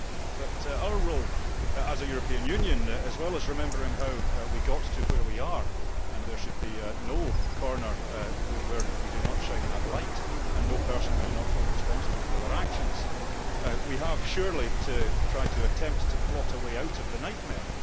But in our role as a European Union, as well as remembering how we got to where we are and there should be no corner where we do not shine that light and no person we do not hold responsible for their actions we have surely to try to attempt to plot a way out of the nightmare.